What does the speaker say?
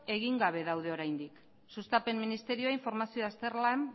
egin gabe daude oraindik sustapen ministerioa informazio azterlan